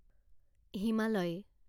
Himalaya